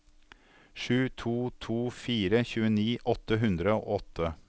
sju to to fire tjueni åtte hundre og åtte